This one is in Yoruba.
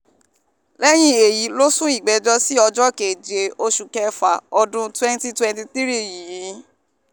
lẹ́yìn èyí ló sún ìgbẹ́jọ́ sí ọjọ́ keje oṣù kẹfà ọdún 2023 yìí